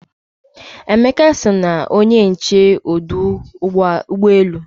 Emeka so na onye nche ọdụ ụgbọ elu